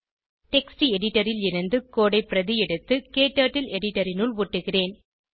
text editor ல் இருந்து code ஐ பிரதி எடுத்து க்டர்ட்டில் எடிட்டர் இனுள் ஒட்டுகிறேன்